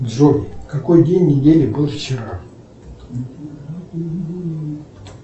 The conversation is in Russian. джой какой день недели был вчера